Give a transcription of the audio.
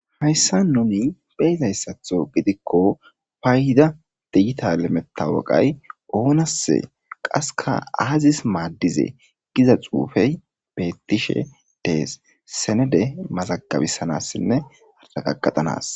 Hayissa gidon beyizayissaththo gidikko payida digital matawaqa onase qasekka azisse madize giza xufey betishshe des senede mazagabanasine aragagetanas